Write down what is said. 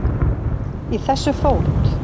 Í þessu fót